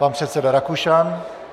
Pan předseda Rakušan.